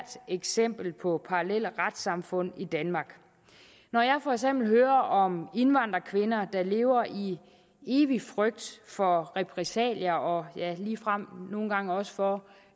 eksempel på parallelle retssamfund i danmark når jeg for eksempel hører om indvandrerkvinder der lever i evig frygt for repressalier og ligefrem nogle gange også for